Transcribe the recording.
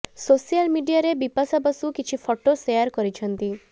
social ମିଡିଆରେ ବିପାଶା ବାସୁ କିଛି photo share କରିଛନ୍ତି